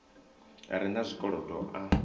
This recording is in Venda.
a re na zwikolodo a